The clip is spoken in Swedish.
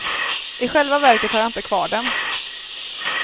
I själva verket har jag inte kvar dem.